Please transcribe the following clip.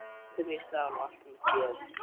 Upp upp mín sál og allt mitt geð!